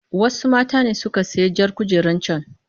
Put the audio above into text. Wasu mata ne suka sayi jar kujerar can.